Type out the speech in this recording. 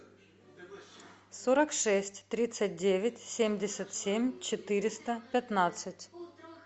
сорок шесть тридцать девять семьдесят семь четыреста пятнадцать